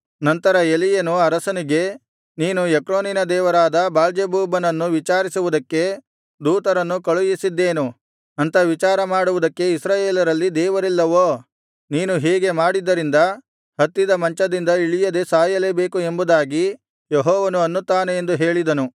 ನಂತರ ಎಲೀಯನು ಅರಸನಿಗೆ ನೀನು ಎಕ್ರೋನಿನ ದೇವರಾದ ಬಾಳ್ಜೆಬೂಬನನ್ನು ವಿಚಾರಿಸುವುದಕ್ಕೆ ದೂತರನ್ನು ಕಳುಹಿಸಿದ್ದೇನು ಅಂಥ ವಿಚಾರ ಮಾಡುವುದಕ್ಕೆ ಇಸ್ರಾಯೇಲರಲ್ಲಿ ದೇವರಿಲ್ಲವೋ ನೀನು ಹೀಗೆ ಮಾಡಿದ್ದರಿಂದ ಹತ್ತಿದ ಮಂಚದಿಂದ ಇಳಿಯದೆ ಸಾಯಲೇಬೇಕು ಎಂಬುದಾಗಿ ಯೆಹೋವನು ಅನ್ನುತ್ತಾನೆ ಎಂದು ಹೇಳಿದನು